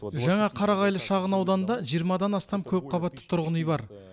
жаңа қарағайлы шағынауданында жиырмадан астам көпқабатты тұрғын үй бар